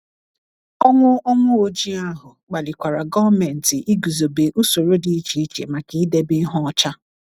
Ọnwụ Ọnwụ Ojii ahụ kpalikwara gọọmenti iguzobe ụsoro dị iche iche maka idebe ihe ọcha.